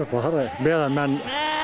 meðan menn